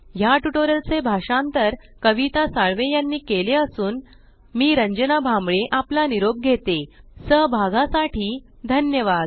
या ट्यूटोरियल चे भाषांतर कविता साळवे यानी केले असून मी रंजना भांबळे आपला निरोप घेते सहभागासाठी धन्यवाद